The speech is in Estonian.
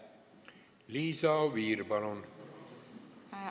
Liisa Oviir, palun!